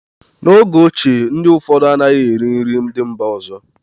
n'oge ochie, ndị ụfọdụ anaghị eri nri ndị mba ọzọ